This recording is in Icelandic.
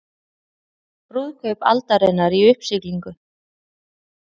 Brúðkaup aldarinnar í uppsiglingu